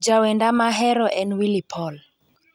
Jawenda mahero en Willy paul